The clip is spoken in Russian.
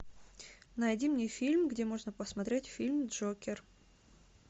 найди мне фильм где можно посмотреть фильм джокер